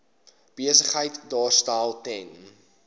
besigheid daarstel ten